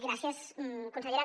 gràcies consellera